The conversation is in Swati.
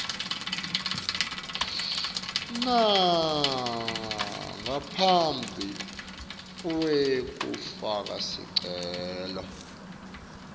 ngaphambi kwekufaka sicelo